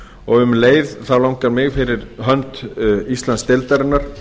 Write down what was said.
og um leið langar mig fyrir hönd íslandsdeildarinnar